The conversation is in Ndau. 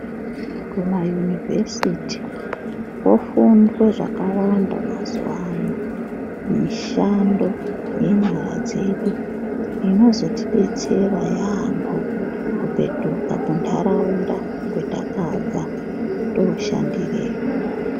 Kumayunovhesiti kofundwe zvakawanda mazuwano mishando yenyara dzedu inozotodetsera yambo kupetuka kunharaunda kwetakabva toshandireyo.